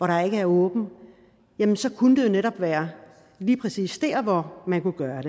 der ikke er åbent jamen så kunne det jo netop være lige præcis dér hvor man kunne gøre